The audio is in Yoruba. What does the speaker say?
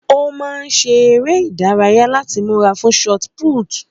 Ó máa ṣe eré ìdárayá láti múra fún sọti púútu